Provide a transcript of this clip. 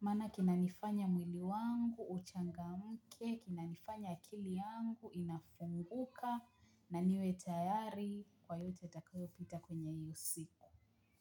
maana kinanifanya mwili wangu uchanga mke kinanifanya akili yangu inafunguka na niwe tayari kwa yote itakayo pita kwenye iyo siku.